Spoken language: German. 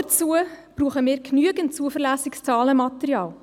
Dazu benötigen wir genügend zuverlässiges Zahlenmaterial.